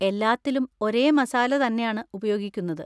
എല്ലാത്തിലും ഒരേ മസാല തന്നെയാണ് ഉപയോഗിക്കുന്നത്.